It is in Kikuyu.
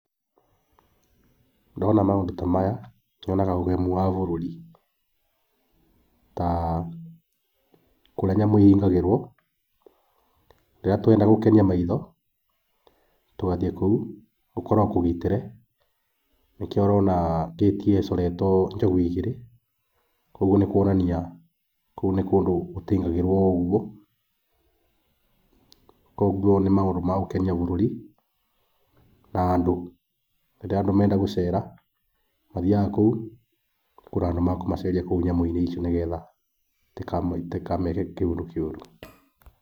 Ndona maũndũ ta maya nyonaga ũgemu wa bũrũri. Ta kũrĩa nyamũ ihingagĩrwo rĩrĩa tũrenda gũkenia maitho tũgathiĩ kũu gũkoragwo kũgitĩre, nĩkĩo ũrona ngĩti ĩyo ĩcoretwo njogu igĩrĩ, koguo nĩ kuonania kũu nĩ kũndũ gũtaingagĩrwo o ũguo. Koguo nĩ maũndũ ma gũkenia bũrũri na andũ. Rĩrĩa andũ marenda gũcera mathiyaga kũu, gũkoragwo na andũ a kũmaceria kũu, nĩgetha nyamũ icio itikameke kĩũndũ kĩũru.